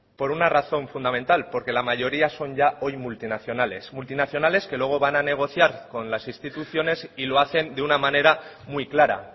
por una razón fundamental porque la mayoría son ya hoy multinacionales multinacionales que luego van a negociar con las instituciones y lo hacen de una manera muy clara